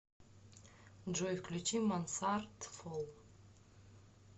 джой включи мансард руф